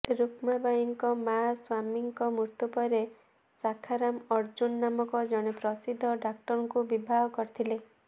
ରୁକ୍ମାବାଈଙ୍କ ମାଆ ସ୍ବାମୀଙ୍କ ମୃତ୍ୟୁ ପରେ ଶାଖାରାମ ଅର୍ଜୁନ ନାମକ ଜଣେ ପ୍ରସିଦ୍ଧ ଡାକ୍ତରଙ୍କୁ ବିବାହ କରିଥିଲେ